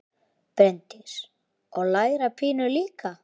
Bryndís: Og læra pínu líka?